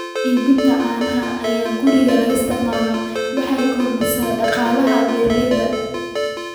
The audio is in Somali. Iibinta caanaha ee guriga loogu isticmaalo waxay kordhisaa dakhliga beeralayda.